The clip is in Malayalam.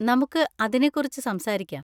നമുക്ക് അതിനെ കുറിച്ച് സംസാരിക്കാം.